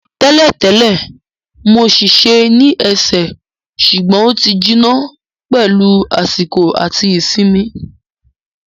Tẹ́lẹ̀ tẹ́lẹ̀, mo ṣèṣe ní ẹsẹ̀ ṣùgbọ́n ó ti jiná pẹ̀lú àsìkò àti ìsinmi